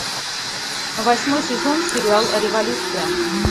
восьмой сезон сериал революция